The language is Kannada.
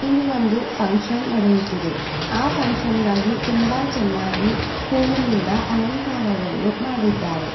ಇಲ್ಲಿ ಒಂದು ಫುನ್ಕ್ಷನ್ ನಡೆಯುತಿದೆ ಆ ಫುನ್ಕ್ಷನ್ ಗಾಗಿ ತುಂಬಾ ಚೆನ್ನಾಗಿ ಹೂವಿನಿಂದ ಅಲಂಕಾರವನ್ನು ಮಾಡಿದ್ದಾರೆ.